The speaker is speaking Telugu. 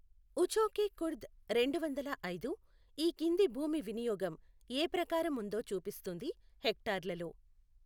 ఉఛోకే కుర్ద్ రెండు వందల ఐదు, ఈ కింది భూమి వినియోగం ఏ ప్రకారం ఉందో చూపిస్తుంది హెక్టార్లలో.